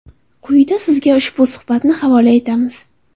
Quyida sizga ushbu suhbatni havola etamiz.